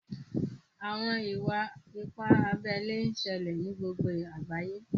Àwọn ìwà-ìpà àbèlè n ṣèlè ní gbogbo àgbàyé.